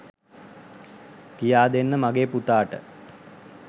කියාදෙන්න මගේ පුතාට